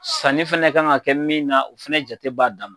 Sanni fɛnɛ kan ka kɛ min na, o fɛnɛ jate b'a dan ma.